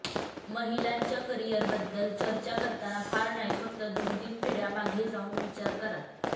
महिलांच्या करीयरबद्दल चर्चा करताना फार नाही फक्त दोन तीन पिढ्या मागे जाऊन विचार करा